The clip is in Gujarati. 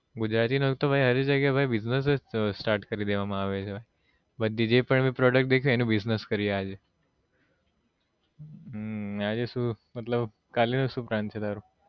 ગુજરાતીનો આવી જગ્યા એ business જ start કરી દેવામાં આવે છે બધી જ પણ ભી product દેખે અનુ business કરીએ આજે હમ આજે શું મતલબ કાલે નો શું plan છે તારો